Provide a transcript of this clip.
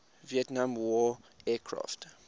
vietnam war aircraft